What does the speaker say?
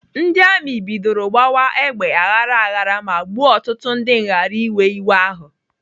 Ndị amị bidoro gbawa egbe aghara ghara ma gbuo ọtụtụ ndị nghariwe iwe ahụ.